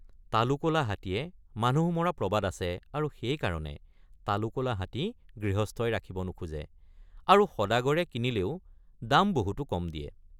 তালু কলা হাতীয়ে মানুহ মৰা প্ৰবাদ আছে আৰু সেইকাৰণে তালু কলা হাতী গৃহস্থই ৰাখিব নোখোজে আৰু সদাগৰে কিনিলেও দাম বহুতো কম দিয়ে।